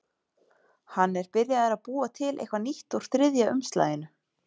Hann er byrjaður að búa til eitthvað nýtt úr þriðja umslaginu.